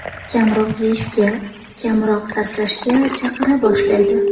Kamroq yeyishga, kamroq sarflashga chaqira boshlaydi.